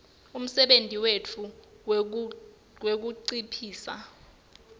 umsebenti wetfu wekunciphisa